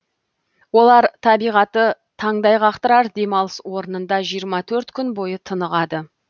олар табиғаты таңдай қақтырар демалыс орнында жиырма төрт күн бойы тынығады